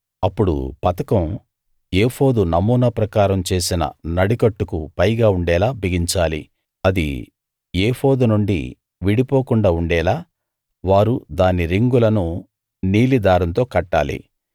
అప్పుడు పతకం ఏఫోదు నమూనా ప్రకారం చేసిన నడికట్టుకు పైగా ఉండేలా బిగించాలి అది ఏఫోదునుండి విడిపోకుండా ఉండేలా వారు దాని రింగులను నీలి దారంతో కట్టాలి